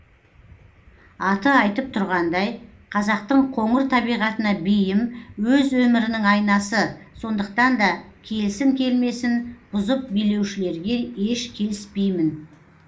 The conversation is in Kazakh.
аты айтып тұрғандай қазақтың қоңыр табиғатына бейім өз өмірінің айнасы сондықтан да келсін келмесін бұзып билеушілерге еш келіспеймін